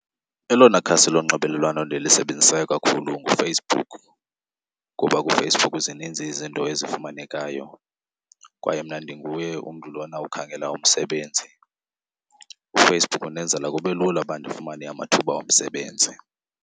Elona khasi lonxibelelwano ndilisebenzisayo kakhulu nguFacebook ngoba kuFacebook zininzi izinto ezifumanekayo kwaye mna ndinguye umntu lona ukhangela umsebenzi. UFacebook undenzela kube lula uba ndifumane amathuba omsebenzi.